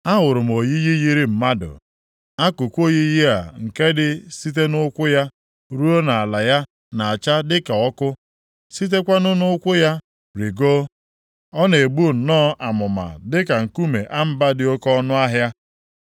Ahụrụ m oyiyi yiri mmadụ. Akụkụ oyiyi a nke dị site nʼụkwụ ya ruo nʼala ya na-acha dịka ọkụ, sitekwanụ nʼụkwụ ya rigoo, ọ na-egbu nnọọ amụma dịka nkume amba dị oke ọnụahịa.